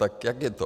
Tak jak je to?